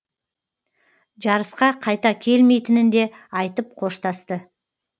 жарысқа қайта келмейтінін де айтып қоштасты